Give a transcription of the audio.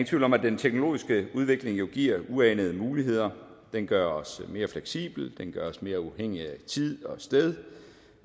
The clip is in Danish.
tvivl om at den teknologiske udvikling jo giver uanede muligheder den gør os mere fleksible den gør os mere uafhængige af tid og sted